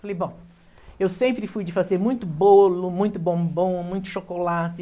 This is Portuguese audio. Falei, bom, eu sempre fui de fazer muito bolo, muito bombom, muito chocolate.